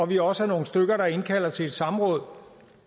vi også er nogle stykker der indkalder til et samråd